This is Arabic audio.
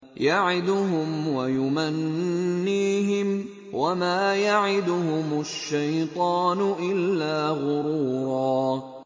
يَعِدُهُمْ وَيُمَنِّيهِمْ ۖ وَمَا يَعِدُهُمُ الشَّيْطَانُ إِلَّا غُرُورًا